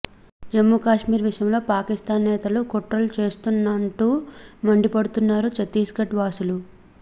జమ్మూకశ్మీర్ విషయంలో పాకిస్థాన్ నేతలు కుట్రలు చేస్తున్నాంటూ మండిపడుతున్నారు ఛత్తీస్ గఢ్ వాసులు